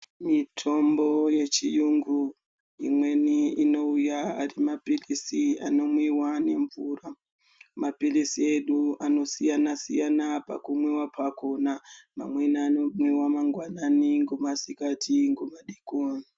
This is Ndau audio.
Mitombo yechiyungu, imweni inouya ari maphilisi anomwiwa nemvura. Maphilisi edu anosiyana-siyana pakumwiwa pakhona mamweni anomwiwa mangwanani ngomasikati ngomadeikoni.